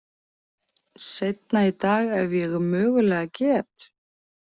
Seinna í dag ef ég mögulega get.